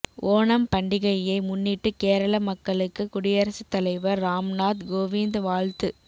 ஓணம் பண்டிகையை முன்னிட்டு கேரள மக்களுக்கு குடியரசுத் தலைவர் ராம்நாத் கோவிந்த் வாழ்த்து